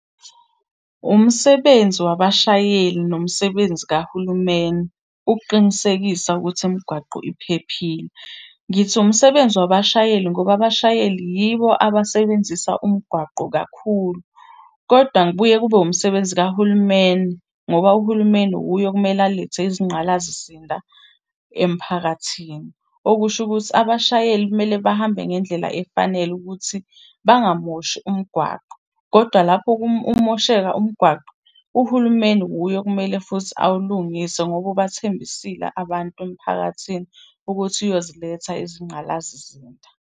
Umsebenzi wabashayeli nomsebenzi kahulumeni ukuqinisekisa ukuthi imigwaqo iphephile. Ngithi umsebenzi wabashayeli ngoba abashayeli yibo abasebenzisa umgwaqo kakhulu, koda kubuye kube umsebenzi kahulumeni ngoba uhulumeni wuye okumele alethe izingqalasizinda emphakathini. Okusho ukuthi abashayeli kumele bahambe ngendlela efanele ukuthi bangamoshi umgwaqo. Kodwa lapho umosheka umgwaqo, uhulumeni wuye okumele futhi awulungise ngoba ubathembisile abantu emphakathini ukuthi uyoziletha izinqgalasizinda.